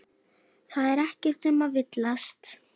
Það er ekkert um að villast.